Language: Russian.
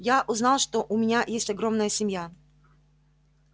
я узнал что у меня есть огромная семья